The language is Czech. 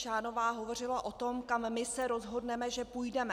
Šánová hovořila o tom, kam my se rozhodneme, že půjdeme.